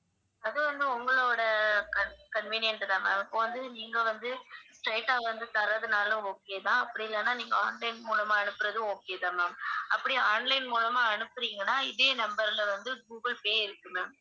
அது வந்து உங்களோட con~ convienient தான் ma'am இப்ப வந்து நீங்க வந்து straight ஆ வந்து தர்றதுனாலும் okay தான் அப்படி இல்லனா நீங்க online மூலமா அனுப்புறதும் okay தான் ma'am அப்படி online மூலமா அனுப்புறீங்கன்னா இதே number ல வந்து கூகுள் பே இருக்கு ma'am